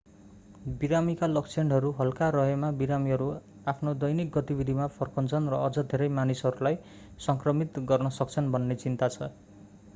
बिरामीका लक्षणहरू हल्का रहेमा बिरामीहरू आफ्नो दैनिक गतिविधिमा फर्कन्छन् र अझ धेरै मानिसहरूलाई सङ्क्रमित गर्न सक्छन्‌ भन्ने चिन्ता छ।